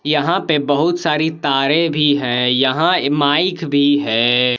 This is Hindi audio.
यहां पे बहुत सारी तारें भी है यहां माइक भी है।